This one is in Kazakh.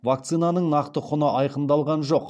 вакцинаның нақты құны айқындалған жоқ